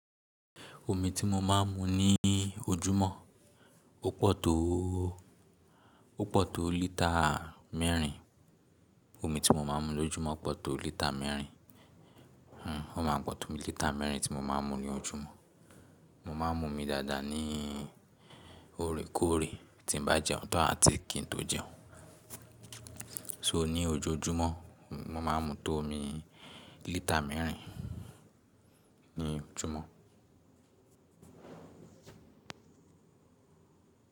Omi tí mo máa ń mu ní ojúmọ́ ó pọ̀ tó, ó pọ̀ tó lítà mẹ́rin. Omi tí mo máa ń mu lójúmọ́ pọ̀ tó lítà mẹ́rin. Hmh, ó ma pọ̀ tó lítà mẹ́rin tí mo máa ń mu ní ojúmọ́. Mo máa ń mu omi dáadáa ní òrékòré tí n bá jẹun tán àti kí n tó jẹun. So ní ojoojúmọ́, mo máa ń mu tó omi lítà mẹ́rin ní ojúmọ́.